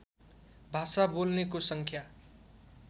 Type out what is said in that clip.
भाषा बोल्नेको सङ्ख्या